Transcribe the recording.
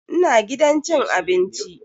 Ina gidan cin abinci.